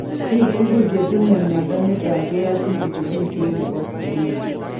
Biik tugul chetinye mnyondo niton keyachin chigilisiet nebo screening